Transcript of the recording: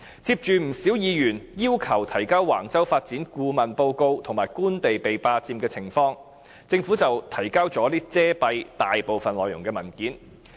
接着，不少議員要求提交橫洲發展的顧問報告及官地被霸佔的情況，政府便提交了遮蔽大部分內容的文件。